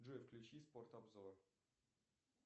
джой включи спорт обзор